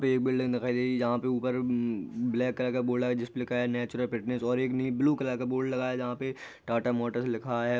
ये एक बिल्डिंग दिखाई दे रही जहां पर ऊपर ब्लैक कलर का बोर्ड है जिसपे लिखा है नेचुरल फिटनेश और एक ब्लू कलर का बोर्ड लगा है जहाँ पे टाटा मोटर्स लिखा है।